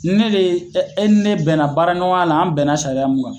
Ne de ɛ e ni ne bɛnna baara ɲɔgɔn la an bɛnna sariya min kan